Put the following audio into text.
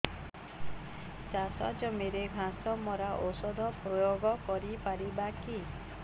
ଚାଷ ଜମିରେ ଘାସ ମରା ଔଷଧ ପ୍ରୟୋଗ କରି ପାରିବା କି